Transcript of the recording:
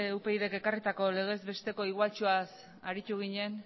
upyd k ekarritako legez besteko igualtxoaz aritu ginen